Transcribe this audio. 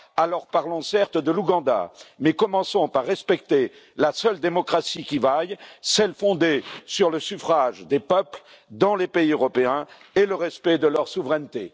Alors, parlons certes de l'Ouganda, mais commençons par respecter la seule démocratie qui vaille, celle fondée sur le suffrage des peuples dans les pays européens et le respect de leur souveraineté.